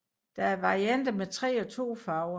Der er varianter med 3 og 2 farver